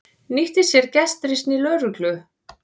Nýtti sér gestrisni lögreglu